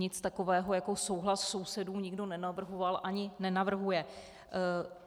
Nic takového jako souhlas sousedů nikdo nenavrhoval ani nenavrhuje.